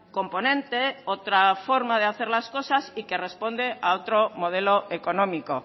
componente otra forma de hacer las cosas y que responde a otro modelo económico